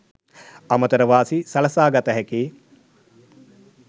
අමතර වාසි සලසා ගත හැකි